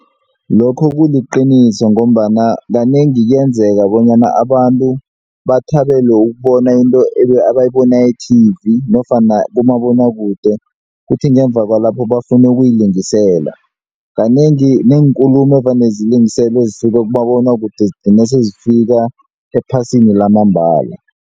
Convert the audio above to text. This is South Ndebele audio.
Lokho kuliqiniso ngombana kanengi kuyenzeka bonyana abantu bathabele ukubona into ebayiboni e-TV nofana kumabonwakude kuthi ngemva kwalapho bafune ukuyilingisela, kanengi neenkulumo evane zilingiselwe ezisuka kumabonwakude zigcine sezifika ephasini lamambala.